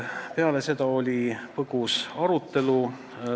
Peale seda oli põgus arutelu.